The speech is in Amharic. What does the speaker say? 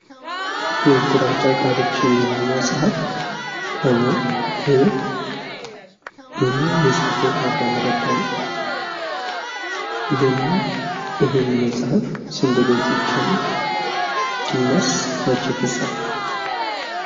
የግራጫ ቃሎች የሚለው መጽሃፍ ከበር ይታያል። የፃፈውም አዳም ረታ ነው። ይህ መጽሐፍ ስንት ገጾች አሉት? እናስ መቼ ተጻፈ?